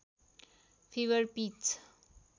fibre pitch